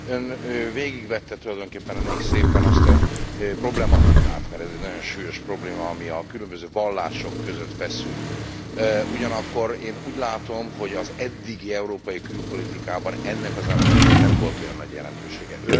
Ön végigvette tulajdonképpen elég szépen azt a problematikát mert ez egy nagyon súlyos probléma ami a különböző vallások között feszül, ugyanakkor én úgy látom, hogy az eddigi európai külpolitikában ennek az elemnek azért nem volt olyan nagy jelentősége.